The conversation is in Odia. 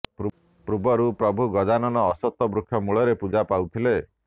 ପୂର୍ବରୁ ପ୍ରଭୁ ଗଜାନନ ଅଶ୍ବତଥ୍ ବୃକ୍ଷ ମୂଳରେ ପୂଜା ପାଉଥିଲେ